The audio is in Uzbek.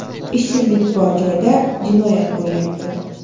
Ishsizlik bor joyda jinoyat bo‘lyapti!